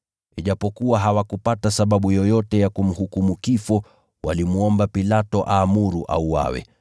Ijapokuwa hawakupata sababu yoyote ya kumhukumu kifo, walimwomba Pilato aamuru auawe.